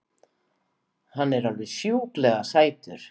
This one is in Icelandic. Hann er alveg sjúklega sætur!